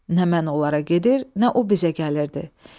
Nə mən onlara gedir, nə o bizə gəlirdi.